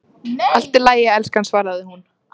Allt í lagi, elskan, svaraði hún.